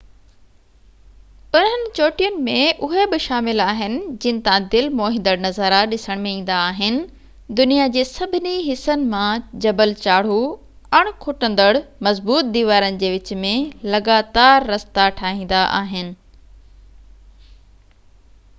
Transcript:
انهن چوٽين ۾ اهي به شامل آهن جن تان دل موهيندڙ نظارا ڏسڻ ۾ ايندا آهن دنيا جي سڀني حصن مان جبل چاڙهو اڻ کُٽندڙ مضبوط ديوارن جي وچ ۾ لڳاتار رستا ٺاهيندا آهن